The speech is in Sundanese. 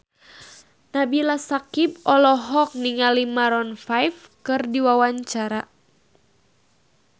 Nabila Syakieb olohok ningali Maroon 5 keur diwawancara